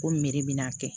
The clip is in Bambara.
Ko meri bɛna a kɛ